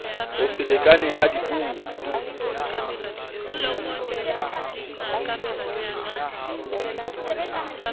ho se lekane ha dipuo